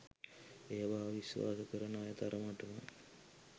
ඒවා විස්වාස කරන අය තරමට‍ම